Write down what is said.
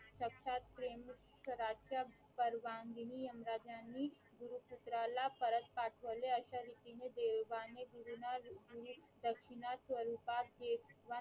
सक्षात प्रेम गराच्या परवानगीनी यमराज ह्यांनी गुरुपुत्राला परत पाठवले अश्या रीतीने देवाने गुरूंना गुरुदक्षिणा स्वरूपात